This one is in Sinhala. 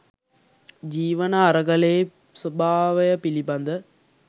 ජීවන අරගලයේ ස්වභාවය පිළිබඳ